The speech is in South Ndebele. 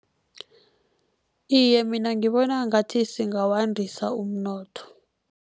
Iye, mina ngibona ngathi singawandisa umnotho.